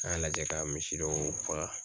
An y'a lajɛ ka misi dɔw faga.